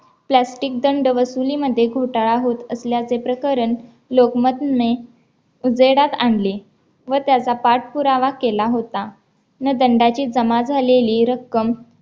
plastic दंडवसुलीमध्ये घोटाळा होत असल्याचे प्रकरण लोकमतने उजेडात आणले व त्याचा पाठपुरावा केला होता. न दंडाची जमा झालेली रक्कम